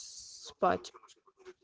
спать